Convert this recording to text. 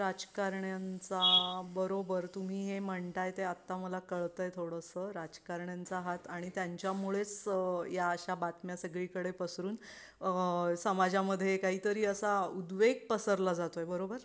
राजकारण्यांचा बरोबर तुम्ही हे म्हणताय ते आता मला कळतंय थोडंस राजकारण्यांचा हात आणि त्यांच्यामुळेच या अशा बातम्या सगळीकडे पसरून समाज मध्ये काही तरी असा उद्वेग पसरला जातोय बरोबर?